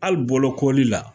Hali bokoli la.